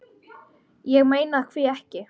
Ég meina hví ekki?